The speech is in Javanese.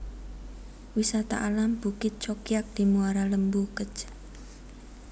Wisata Alam Bukit Cokiak di Muara Lembu Kec